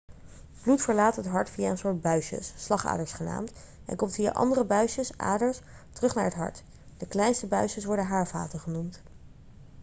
bloed verlaat het hart via een soort buisjes slagaders genaamd en komt via andere buisjes aders terug naar het hart de kleinste buisjes worden haarvaten genoemd